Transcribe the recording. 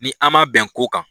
Ni an ma bɛn ko kan.